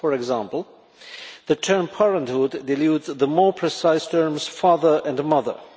For example, the term parenthood' dilutes the more precise terms father and mother'.